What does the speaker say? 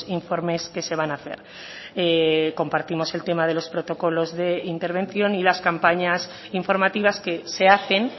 informes que se van a hacer compartimos el tema de los protocolos de intervención y las campañas informativas que se hacen